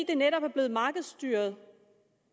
det netop er blevet markedsstyret